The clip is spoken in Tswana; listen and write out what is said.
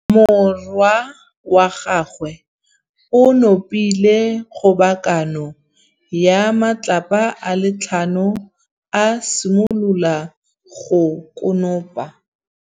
Morwa wa gagwe o nopile kgobokanô ya matlapa a le tlhano, a simolola go konopa.